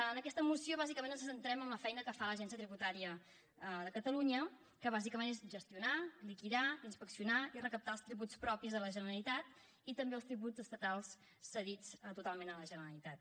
en aquesta moció bàsicament ens centrem en la feina que fa l’agència tributària de catalunya que bàsicament és gestionar liquidar inspeccionar i recaptar els tributs propis de la generalitat i també els tributs estatals cedits totalment a la generalitat